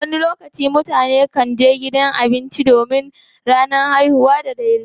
wani lokacin mutane kan je gidan abinci don bikin ranar haihuwa da sauransu